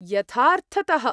यथार्थतः!